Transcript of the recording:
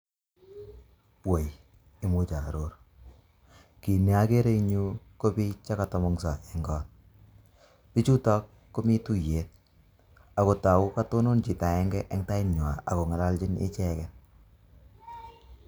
Woi imuch aaror kiit ne akere ing yu ko biik che ka tomgonyso eng koot chutok komii tuiyet akotaku katonon chito akenge eng tait nywa ako ngalalchin icheket.